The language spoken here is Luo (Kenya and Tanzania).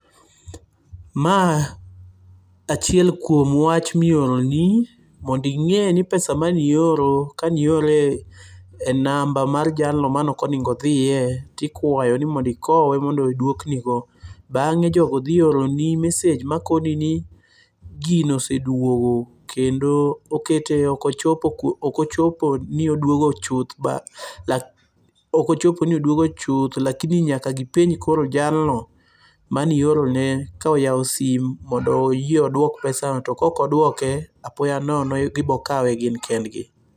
Ma achiel kuom wach mioroni monding'e ni pesa manioro kaniore e namba mar jalno manokonego odhiye tikwayo ni mondikowe mondo dwoknigo. Bang'e jogo dhi oroni message makoni ni gino oseduogo kendo okete okochopo ni oduogo chuth, lakini nyaka gipenj koro jalno maniorone ka oyawo sim mondo oyie odwok pesa no. To kokodwoke, apoya nono gibokawe gin kendgi.